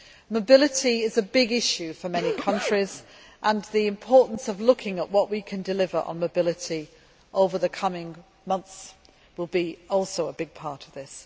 Mobility is a big issue for many countries, and the importance of looking at what we can deliver on mobility over the coming months will also be a big part of this.